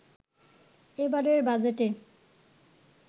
এবারের বাজেটে